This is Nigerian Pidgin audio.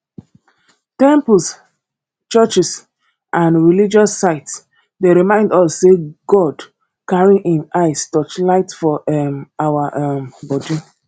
temples churches and religious sites dey remind us sey god carry im eyes touchlight for um our um body